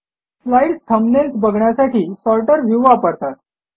slides thumbnails बघण्यासाठी sorter view वापरतात